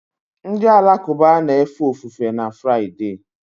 Ndị Alakụba na-efe ofufe na Fraịde